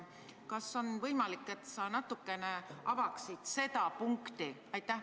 Kas on võimalik, et sa natukene avaksid seda punkti?